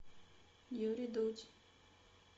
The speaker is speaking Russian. юрий дудь